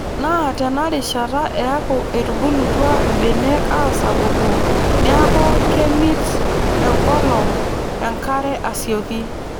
Naa teinarishata eeku etubulutua mbenek aasapuku neeku kemit enkolong enkare asioki.